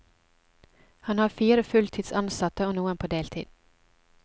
Han har fire fulltids ansatte og noen på deltid.